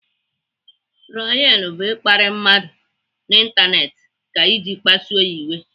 Trolin bụ ịkparị mmadụ n'Ịntanetị ka iji kpasuo ya iwe.